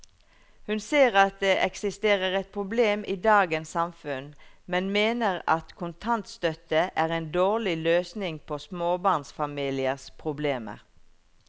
Hun ser at det eksisterer et problem i dagens samfunn, men mener at kontantstøtte er en dårlig løsning på småbarnsfamiliers problemer.